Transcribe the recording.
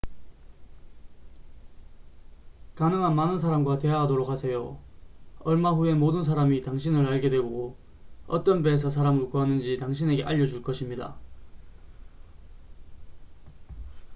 가능한 많은 사람과 대화하도록 하세요 얼마 후에 모든 사람이 당신을 알게 되고 어떤 배에서 사람을 구하는지 당신에게 알려줄 것입니다